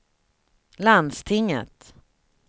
landstinget